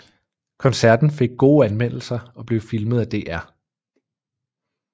Koncerten fik gode anmeldelser og blev filmet af DR